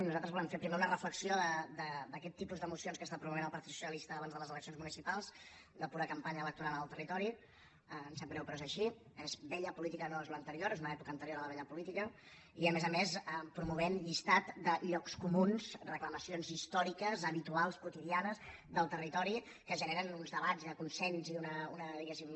nosaltres volem fer primer una reflexió d’aquest tipus de mocions que està promovent el partit socialista abans de les eleccions municipals de pura campanya electoral en el territori em sap greu però és així és vella política no és l’anterior és una època anterior a la vella política i a més a més promovent llistat de llocs comuns reclamacions històriques habituals quotidia nes del territori que generen uns debats de consens i una diguéssim